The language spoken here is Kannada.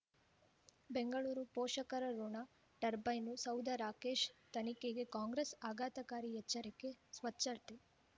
ಬೆಂಗಳೂರು ಪೋಷಕರಋಣ ಟರ್ಬೈನು ಸೌಧ ರಾಕೇಶ್ ತನಿಖೆಗೆ ಕಾಂಗ್ರೆಸ್ ಆಘಾತಕಾರಿ ಎಚ್ಚರಿಕೆ ಸ್ವಚ್ಛತೆ